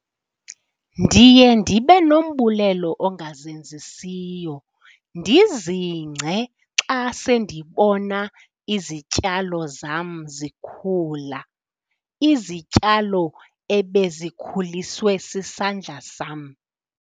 Ndiye ndibe nombulelo ongazenzisiyo ndizingce ke xa sendibona izityalo zam zikhula, izityalo ebezikhuliswe sisandla sam.